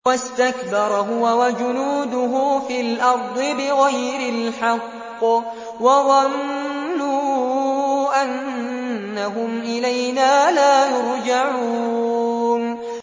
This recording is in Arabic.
وَاسْتَكْبَرَ هُوَ وَجُنُودُهُ فِي الْأَرْضِ بِغَيْرِ الْحَقِّ وَظَنُّوا أَنَّهُمْ إِلَيْنَا لَا يُرْجَعُونَ